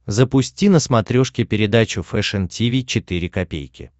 запусти на смотрешке передачу фэшн ти ви четыре ка